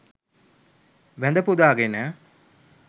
වැඳ පුදා ගෙන